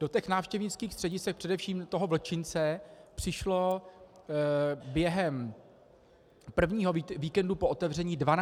Do těch návštěvnických středisek, především do toho vlčince, přišlo během prvního víkendu po otevření 12 tisíc lidí.